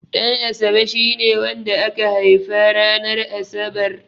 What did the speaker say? Ɗanasabe shine wanda aka haifa ranar Asabar.